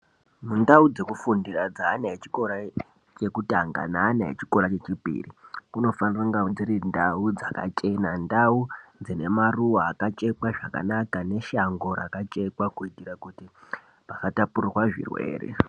Mundau dzekufundira dzeana echikora chekutanga neana echikora chechipiri kunofanika kunga dziri ndau dzakachena, ndau dzine maruwa akachekwa zvakanaka neshango rakachekwa kuitira asatapurirwa zvirwere.